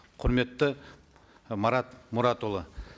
құрметті марат мұратұлы